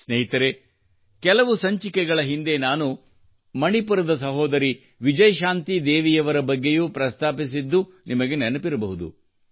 ಸ್ನೇಹಿತರೇ ಕೆಲವು ಸಂಚಿಕೆಗಳ ಹಿಂದೆ ನಾನು ಮಣಿಪುರದ ಸಹೋದರಿ ವಿಜಯಶಾಂತಿ ದೇವಿಯವರ ಬಗ್ಗೆಯೂ ಪ್ರಸ್ತಾಪಿಸಿದ್ದುದು ನಿಮಗೆ ನೆನಪಿರಬಹುದು